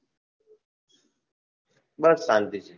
બસ શાંતિ